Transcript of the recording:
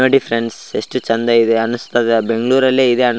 ನೋಡಿ ಫ್ರೆಂಡ್ಸ್ ಎಷ್ಟು ಚೆಂದ ಇದೆ ಅನುಸ್ತಾದ ಬೆಂಗಳೂರು ಅಲ್ಲಿ ಇದೆ --